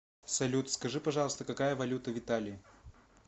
салют скажи пожалуйста какая валюта в италии